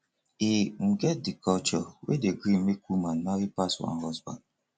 e um get di culture wey dey gree make woman marry pass one husband